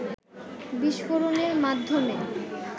বিস্ফোরণের মাধ্যমে